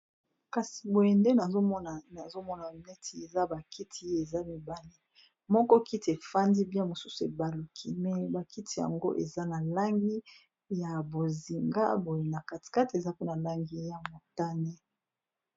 kasi boyende nazomona neti eza bakiti ye eza mibale moko kiti efandi bia mosusu ebaluki me bakiti yango eza na langi ya bozinga boye na katikate eza mpona langi ya motane